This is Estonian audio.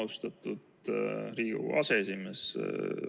Austatud Riigikogu aseesimees!